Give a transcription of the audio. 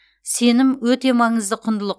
сенім өте маңызды құндылық